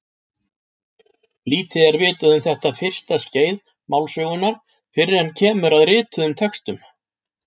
Lítið er vitað um þetta fyrsta skeið málsögunnar fyrr en kemur að rituðum textum.